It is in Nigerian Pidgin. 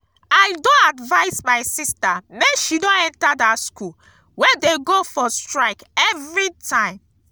i don advice my sister make she no enter dat school wey dey go for strike everytime